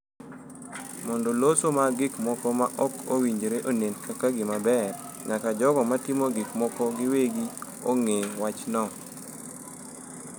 Mondo loso mag gik moko ma ok owinjore onen kaka gima ber, nyaka jogo ma timo gik moko giwegi ong’e wachno.